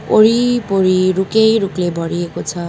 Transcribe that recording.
वरिपरि रुखै रूखले भरिएको छ।